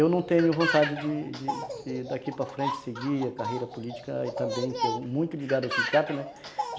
Eu não tenho vontade de de de daqui para frente seguir a carreira política e também que é muito ligado ao sindicato, né?